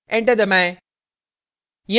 enter दबाएं